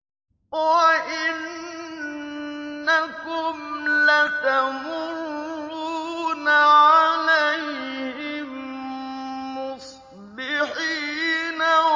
وَإِنَّكُمْ لَتَمُرُّونَ عَلَيْهِم مُّصْبِحِينَ